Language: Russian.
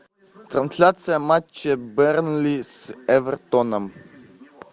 трансляция матча бернли с эвертоном